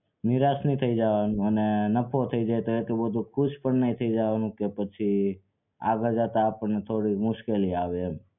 નિરાશ નઈ થઇ જવાનું અને નફો થઇ જાય તો એટલું બધું ખુશ પણ નઈ થઇ જાવ કે પછી આગળ જતા આપણને થોડી મુશ્કેલી આવે એમ